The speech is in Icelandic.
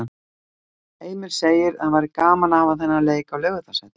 Heimir segir að það væri gaman að hafa þennan leik á Laugardalsvelli.